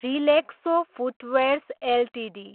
Relaxo footwears Ltd